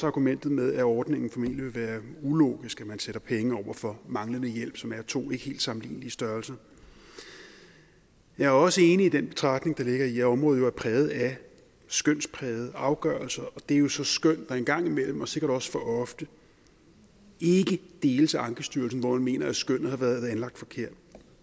argumentet med at ordningen formentlig vil være ulogisk nemlig at man sætter penge over for manglende hjælp som er to ikke helt sammenlignelige størrelser jeg er også enig i den betragtning der ligger i at området er præget af skønsprægede afgørelser og det er jo så skøn der en gang imellem og sikkert også for ofte ikke deles af ankestyrelsen hvor man mener at skønnet har været anlagt forkert